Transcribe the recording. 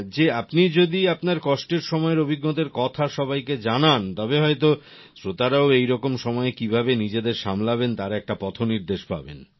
যে আপনি যদি আপনার কষ্টের সময়ের অভিজ্ঞতার কথা সবাইকে জানান তবে হয়তো শ্রোতারাও এই রকম সময়ে কিভাবে নিজেদের সামলাবেন তার একটা পথনির্দেশ পাবেন